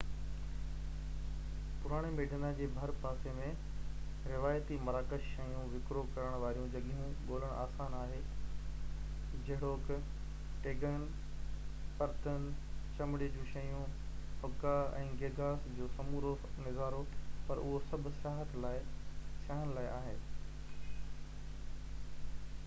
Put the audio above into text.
پراڻي ميڊينا جي ڀر پاسي ۾ روايتي مراڪش شيون وڪرو ڪرڻ واريون جڳهيون ڳولڻ آسان آهي جهڙوڪ ٽيگين برتن چمڙي جون شيون حڪا ۽ گيگاس جو سمورو نظارو پر اهو سڀ سياحن لاءِ آهي